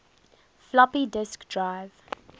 floppy disk drive